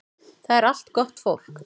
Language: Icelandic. Það er allt gott fólk